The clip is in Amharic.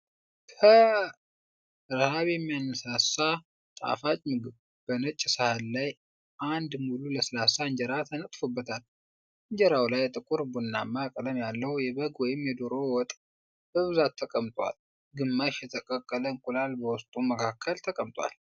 ፐ ረሃብ የሚያነሳሳ ጣፋጭ ምግብ። በነጭ ሳህን ላይ አንድ ሙሉ ለስላሳ እንጀራ ተነጥፎበታል። እንጀራው ላይ ጥቁር ቡናማ ቀለም ያለው የበግ ወይም የዶሮ ወጥ (ወት) በብዛት ተቀምጧል። ግማሽ የተቀቀለ እንቁላል በወጡ መካከል ተቀምጧል።